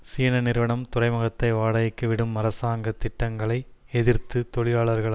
சீன நிறுவனம் துறைமுகத்தை வாடகைக்கு விடும் அரசாங்க திட்டங்களை எதிர்த்து தொழிலாளர்கள்